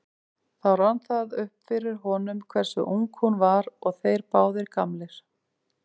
Þá rann það upp fyrir honum hversu ung hún var og þeir báðir gamlir.